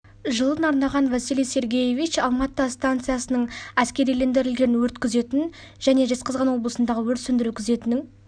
жылын арнаған василий сергеевич алма-ата станциясының әскерилендірілген өрт күзетін және жезқазған облысындағы өрт сөндіру күзетінің